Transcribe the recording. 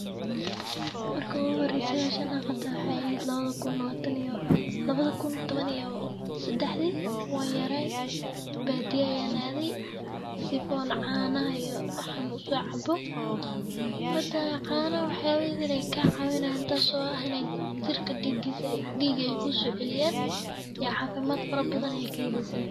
Marka ugu horreysay eed hawshana qabto waxay ahayd labada kun toban iyo saddexdi waan yaray baadiyaa yan aaday sifon caanaha iyo xanuunsaa cabbo. Mata caana waxyaabahay inay ka caawinayaan inta soo aheyn jirka dhiigisa, dhiigay ku suoo celiyaan iyo caafimaad fara badan ay keenaysa.